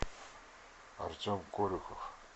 артем колюхов